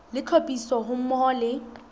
le tlhophiso ha mmoho le